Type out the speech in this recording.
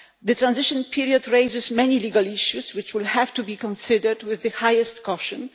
The transition period raises many legal issues which will have to be considered with the highest caution.